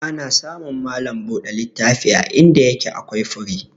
Ana samun malam buɗe littafi a inda yake akwai fure.